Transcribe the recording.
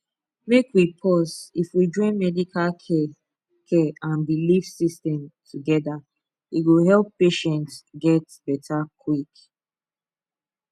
make we pause if we join medical care care and belief systems together e go help patients get better quick